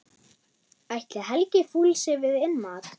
Ætli Helgi fúlsi við innmat?